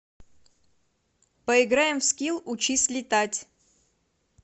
поиграем в скил учись летать